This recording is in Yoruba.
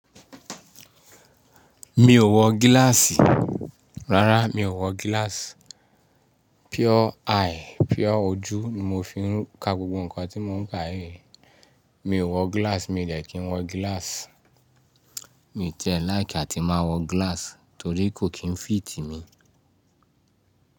Mi ò wọ gíláàsì. Rárá, mi ò wọ gíláàsì. Pure eye, pure ojú ni mo fi ń ka gbogbo nǹkan tí mo ń ka yìí. Mi ò wọ gíláàsì, mi de kí n wọ gíláàsì. Mi ti e láì kí a ti máa wọ gíláàsì torí kò kí n fìtì mi.